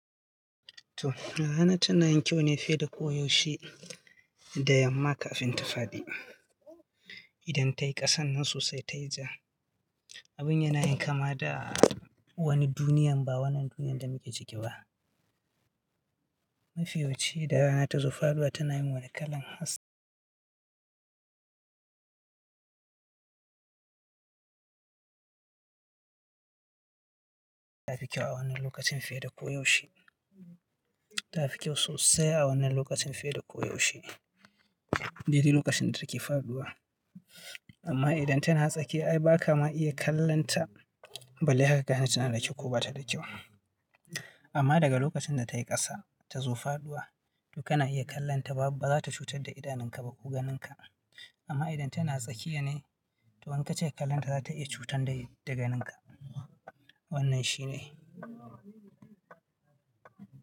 Toh rana tana yin kyau ne fiye da ko yaushe da yamma kafin ta faɗi. Idan ta yi ƙasan nan sai ta yi ja. Abun yana yin kama da wani duniyan, ba wannan duniyan da muke ciki ba. Mafi yawan ce da rana ta zo faduwa tana yin wani kalan haske. Ta fi kyau a wannan lokacin fiye da koyaushe. Ta fi kyau sosai a wannan lokacin fiye da koyaushe. Dai dai lokacin da take faɗuwa. Amma idan tana tsakiya ai ba ka ma iya kallonta balle haka ka gane tana da kyau ko ba ta da kyau. Amma daga lokacin da ta yi ƙasa ta zo faduwa, to kana iya kallonta ba za ta cutar da idanunka ba ko ganinka. Amma idan tana tsakiya ne, to in kacika kallonta za ta iya cutar da ganinka. Wannan shi ne.